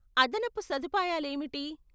అదనపు సదుపాయాలేమిటి?